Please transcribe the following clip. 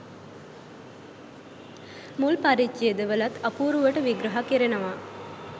මුල් පරිච්ජේදවලත් අපූරුවට විග්‍රහ කෙරෙනවා.